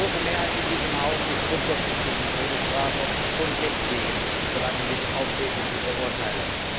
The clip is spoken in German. Die große Mehrheit in diesem Haus ist grundsätzlich gegen die Todesstrafe, schon deswegen verlangen wir die Aufhebung dieser Urteile.